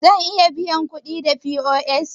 Zan iya biyan kuɗin da POS?